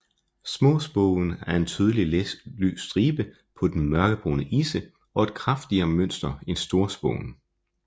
Småspoven har en tydelig lys stribe på den mørkebrune isse og et kraftigere mønster end storspoven